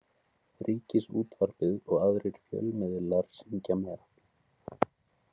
Ríkisútvarpið og aðrir fjölmiðlar syngja með.